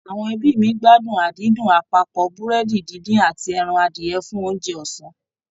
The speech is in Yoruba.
Àwọn ẹbí mi gbádùn àdídùn àpapọ̀ Búrẹ́dì díndín àti ẹran adìyẹ fún oúnjẹ ọ̀sán